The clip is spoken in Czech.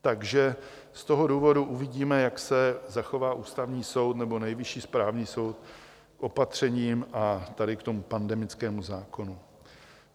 Takže z toho důvodu uvidíme, jak se zachová Ústavní soud nebo Nejvyšší správní soud k opatřením a tady k tomu pandemickému zákonu.